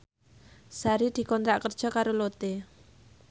Sari dikontrak kerja karo Lotte